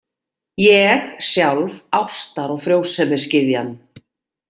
Ég, sjálf ástar- og frjósemisgyðjan!